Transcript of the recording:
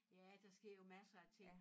Ja der sker jo masser af ting